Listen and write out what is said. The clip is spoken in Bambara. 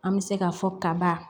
An bɛ se ka fɔ kaba